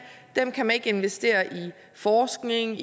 kan man ikke investere i forskning